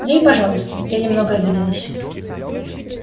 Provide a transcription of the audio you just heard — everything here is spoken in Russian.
да и пожалуйста я немного обиделась